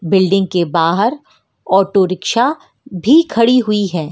Building के बाहर auto rickshaw भी खड़ी हुई है।